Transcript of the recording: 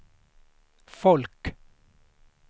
folk